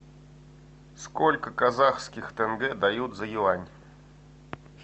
сколько казахских тенге дают за юань